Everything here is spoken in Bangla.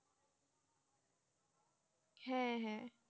হ্যাঁ, হ্যাঁ।